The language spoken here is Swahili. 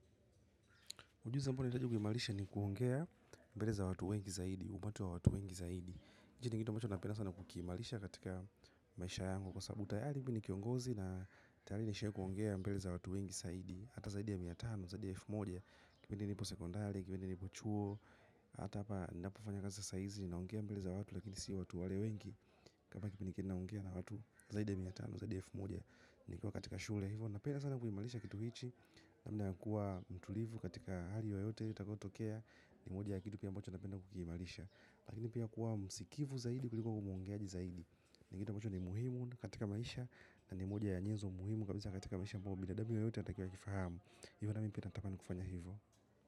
Ujuzi ambao ninahitaji kuimarisha ni kuongea mbele za watu wengi zaidi, umati wa watu wengi zaidi. Hichi ni kitu ambacho napenda sana kukiimarisha katika maisha yangu kwa sababu tayari mi ni kiongozi na tayari nishawahi kuongea mbele za watu wengi zaidi. Hata zaidi ya mia tano, zaidi ya elfu moja, kipindi nipo sekondari, kipindi nipo chuo, hata hapa ninapofanya kaza saa hizi ninaongea mbele za watu, lakini si watu wale wengi. Hapa kipindi ninaongea na watu zaidi ya mia tano, zaidi ya elfu moja, nikiwa katika shule. Napenda sana kuimarisha kitu hichi. Nakuwa mtulivu katika hali yoyote itakayotokea, ni moja ya kitu pia ambacho napenda kukiimarisha. Lakini pia kuwa msikivu zaidi kuliko kuwa muongeaji zaidi, ni kitu ambacho ni muhimu katika maisha na ni moja ya nyezo muhimu kabisa katika maisha ambayo binadamu yoyote anatakiwa akifahamu. Ivo nami pia ninatamani kufanya hivo.